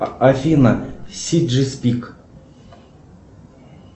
афина си джи спик